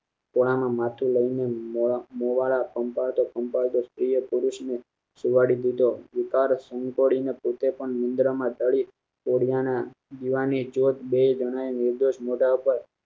ત્યાં માથું લઇ ને મોં~મોવાળા પંપાળતા પંપાળતા સ્ત્રી એ પુરુષ ને સુવાડી દીધો વિકાર સંતાડી પોતે પણ નિંદ્રા માં ઠળી ઠળી અને દિવા ની જ્યોત મારતા